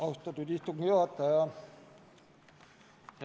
Austatud istungi juhataja!